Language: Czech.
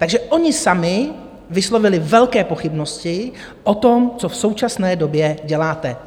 Takže oni sami vyslovili velké pochybnosti o tom, co v současné době děláte.